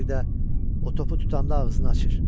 Bir də o topu tutanda ağzını açır.